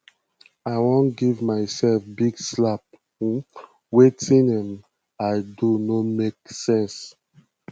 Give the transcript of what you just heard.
i wan give myself big slap um wetin um i do no make um sense